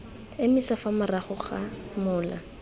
emisa fa morago ga mola